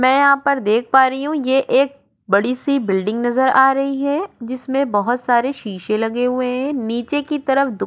मैं यहाँ पर देख पा रही हूँ ये एक बड़ी सी बिल्डिंग नजर आ रही है जिसमें बहुत सारे शीशे लगे हुए हैं नीचे की तरफ --